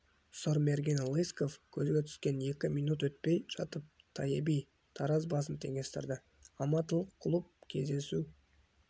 сұрмергені лыськов көзге түскен екі минт өтпей жатып тайеби тараз басын теңестірді алматылық клуб кездесу